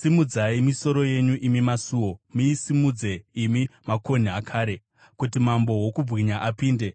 Simudzai misoro yenyu, imi masuo; muisimudze, imi makonhi akare, kuti Mambo wokubwinya apinde.